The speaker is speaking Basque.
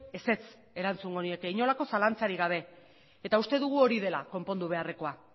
ezetz erantzungo nieke inolako zalantzarik gabe eta uste dugu hori dela konpondu beharrekoa